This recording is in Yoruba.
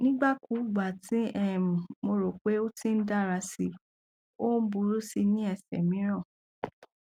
nigbakugba ti um mo ro pe pe o ti n dara si o buru si ni ẹsẹ miiran